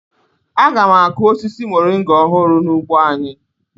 Aga m akụ osisi moringa ọhụrụ n'ugbo anyị.